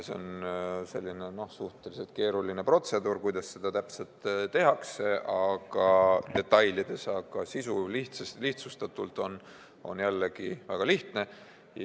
See on suhteliselt keeruline protseduur, kuidas seda täpselt detailides tehakse, aga sisu on lihtsustatult jällegi väga lihtne.